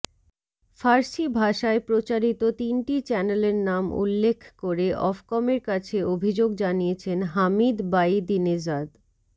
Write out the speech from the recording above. ফার্সি ভাষায় প্রচারিত তিনটি চ্যানেলর নাম উল্লেখ করে অফকমের কাছে অভিযোগ জানিয়েছেন হামিদ বায়িদিনেজাদ